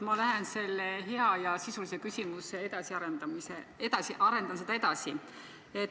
Ma arendan seda head ja sisulist küsimust edasi.